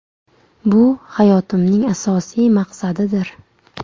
Bu hayotimning asosiy maqsadidir.